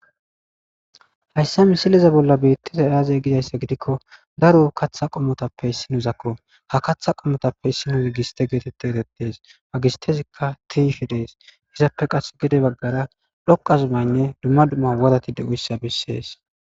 haysse misileza bolla beettizay aazey gidayssa gidikko daro katha qommotappe issinozakko ha katha qommotappe issinozi giste geetette ekettees ha gistezikka tiyish de7es izappe qas gede baggara dhoqa zumaynne dumma dumma worati de7izaysa besees.